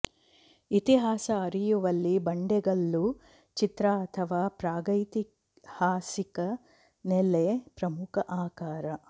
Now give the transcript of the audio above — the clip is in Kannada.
ಇತಿಹಾಸ ಅರಿಯುವಲ್ಲಿ ಬಂಡೆಗಲ್ಲು ಚಿತ್ರ ಅಥವಾ ಪ್ರಾಗೈತಿಹಾಸಿಕ ನೆಲೆ ಪ್ರಮುಖ ಆಕರ